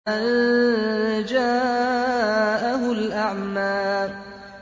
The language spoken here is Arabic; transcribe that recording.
أَن جَاءَهُ الْأَعْمَىٰ